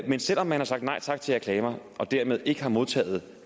men selv om man har sagt nej tak til reklamer og dermed ikke har modtaget